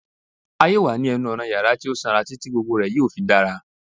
A yoo wa ni ẹnu-ọna ti yara ti o sanra titi gbogbo rẹ yoo fi dara